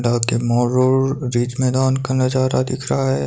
रात के मोरल रिच मैदान का नजारा दिख रहा है।